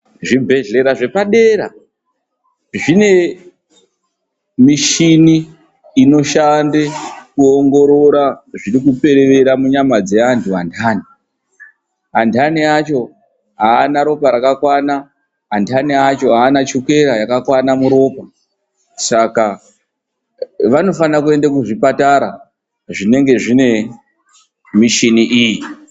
Zvibhedhlera zvepadera, zvine michini inoshanda kuongorora zviri kuperevera munyama dzeantu anthani. Antani acho aana ropa rakakwana, anthani acho aana chukera yakakwana muropa. Saka vanofana kuenda kuzvipatara zvinonga zvine michini iyi.